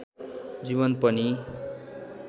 जीवन पनि